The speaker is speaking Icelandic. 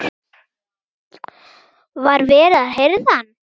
Var verið að hirða hann?